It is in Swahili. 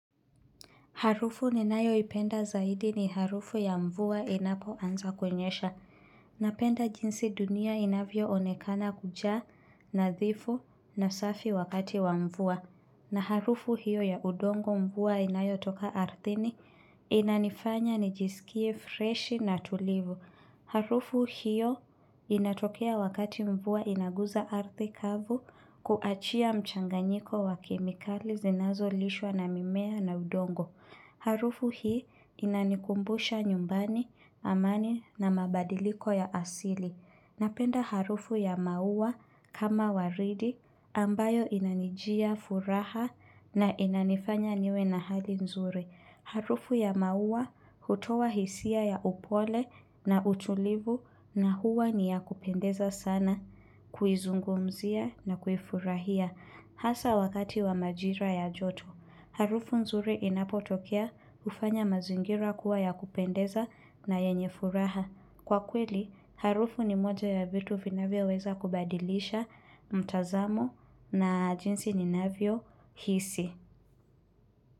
Harufu ninayo ipenda zaidi ni harufu ya mvua inapo anza kunyesha. Napenda jinsi dunia inavyo onekana kujaa na dhifu na safi wakati wa mvua. Na harufu hiyo ya udongo mvua inayo toka ardhini inanifanya nijisikie freshi na tulivu. Harufu hiyo inatokea wakati mvua inaguza ardhi kavu kuachia mchanganyiko wa kemikali zinazo lishwa na mimea na udongo. Harufu hii inanikumbusha nyumbani, amani na mabadiliko ya asili. Napenda harufu ya maua kama waridi ambayo inanijia furaha na inanifanya niwe na hali nzuri. Harufu ya maua hutoa hisia ya upole na utulivu na huwa niya kupendeza sana kuizungumzia na kuifurahia hasa wakati wa majira ya joto. Harufu nzuri inapotokea ufanya mazingira kuwa ya kupendeza na yenye furaha. Kwa kweli, harufu ni moja ya vitu vinavyo weza kubadilisha mtazamo na jinsi ninavyo hisi.